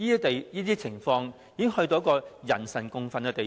這種情況已經到了人神共憤的地步。